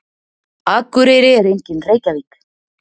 Akureyri er engin Reykjavík.